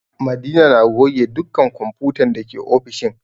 Madina na goge dukkan kwamfutan dake ofishin